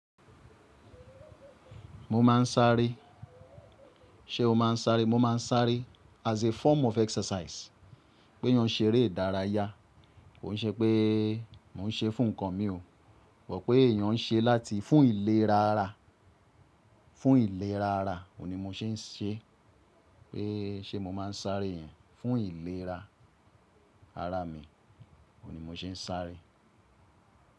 Mo máa ń sáré. Ṣé o máa ń sáré? Mo máa ń sáré as a form of exercise. Ke eeyán ṣe eré ìdárayá. Kò n ṣe pé mò ń ṣe fún nǹkan mi o. Mo pé èèyàn ń ṣe, láti fún ìlera ara. Fún ìlera ara. Ni mò ṣé ń ṣe. Pé ṣe mo máa ń sáré yẹn? Fún ìlera ara mi. Óun ni mò ṣé ń sáré.